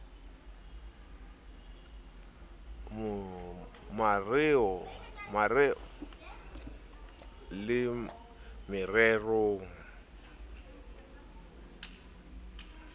mareo le mererong ya diprojekte